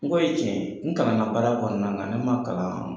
N kɔ ye tiɲɛ ye. N kalanna baara kɔnɔna na, ne ma kalan